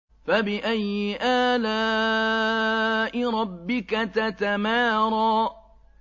فَبِأَيِّ آلَاءِ رَبِّكَ تَتَمَارَىٰ